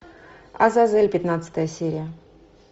азазель пятнадцатая серия